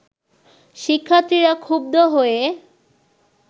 শিক্ষার্থীরা ক্ষুব্ধ হয়ে